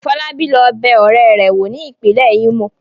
Fọlábí lọ bẹ ọ̀rẹ́ rẹ̀ wò ní ìpínlẹ̀ Imo.